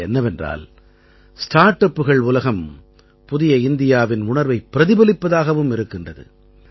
அது என்னவென்றால் ஸ்டார்ட் அப்புகள் உலகம் புதிய இந்தியாவின் உணர்வைப் பிரதிபலிப்பதாகவும் இருக்கின்றது